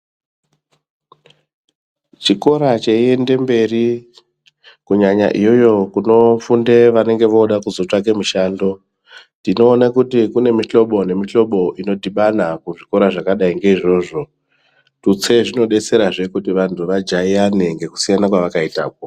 Chikora cheiende mberi kunyanya iyoyo kunorundwe vanenge vode kuzotsvake mishando. Tinoona kuti kune mihlobo nemihlobo inodhibana kuzvikoro zvakadai nge izvozvo. Tutse zvinobetserazve kuti vantu vajaiyane ngekusiyana kwavakaitako.